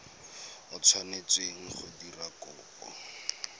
o tshwanetseng go dira kopo